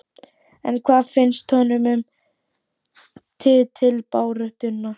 En hvað finnst honum um titilbaráttuna?